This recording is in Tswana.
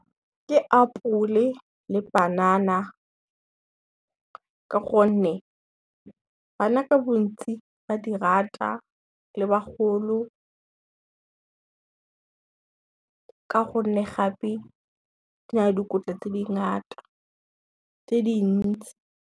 Ke apole le panana, ka gonne bana ka bontsi ba di rata le bagolo, ka gonne gape di na le dikotla tse dintsi.